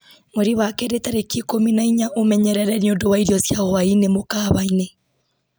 mweri wa kerĩ tarĩki ikũmi na inya ũmenyerere nĩ ũndũ wa irio cia hwaĩ-inĩ mũkawa-inĩ